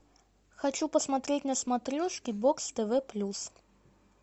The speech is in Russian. хочу посмотреть на смотрешке бокс тв плюс